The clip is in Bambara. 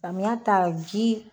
Samiya ta o ji.